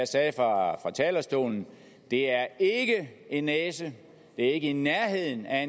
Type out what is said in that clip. sagde fra talerstolen det er ikke en næse det er ikke i nærheden af at